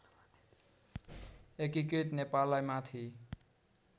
एकीकृत नेपाललाई माथि